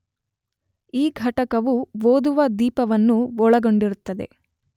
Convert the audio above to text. ಈ ಘಟಕವು ಓದುವ ದೀಪವನ್ನು ಒಳಗೊಂಡಿರುತ್ತದೆ